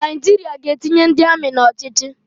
Naịjiria ga-etinye ndị amị n'ochiochi